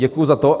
Děkuji za to.